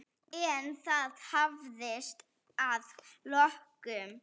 En það hafðist að lokum.